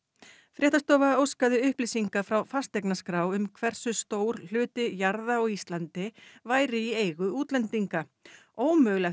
fréttastofa óskaði upplýsinga frá fasteignaskrá um hversu stór hluti jarða á Íslandi væri í eigu útlendinga ómögulegt